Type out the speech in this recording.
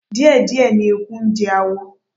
Díẹ̀díẹ̀ ni eku ń jẹ awọ